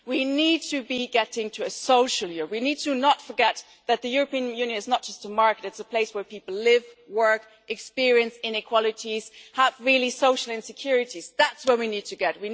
We need to get to a social union we should not forget that the European Union is not just a market, it is a place where people live, work, experience inequalities, have social insecurities and that's where we need to get.